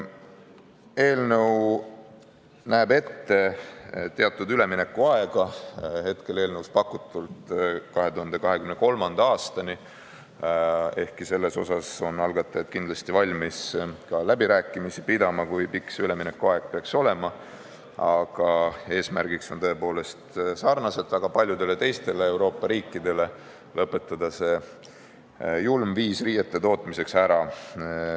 Eelnõu näeb ette teatud üleminekuaja, praegu eelnõus pakutuna 2023. aastani, ehkki selles suhtes on algatajad kindlasti valmis ka läbirääkimisi pidama, kui pikk see üleminekuaeg peaks olema, aga eesmärgid on tõepoolest väga sarnased teiste Euroopa riikidega – lõpetada see julm viis riiete tootmiseks ära.